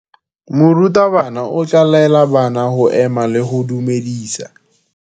Morutabana o tla laela bana go ema le go go dumedisa.